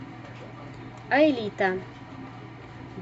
аэлита